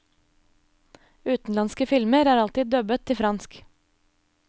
Utenlandske filmer er alltid dubbet til fransk.